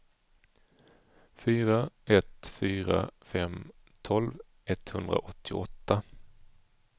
fyra ett fyra fem tolv etthundraåttioåtta